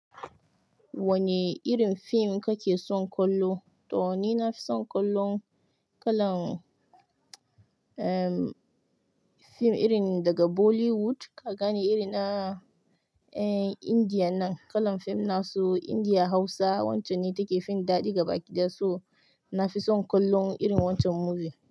Wane irin fim kake son kollo? To ni nafi son kollon kalan, ehm fim irin daga Bollywood ka gane irin na Indiya nan. Kalan fim nasu Indiya Hausa wancen ne take fin daɗi ga bakin das. To nafi son kollon irin wancan movie.